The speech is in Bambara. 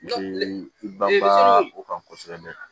Kan kosɛbɛ